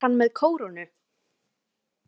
Var hann með kórónu?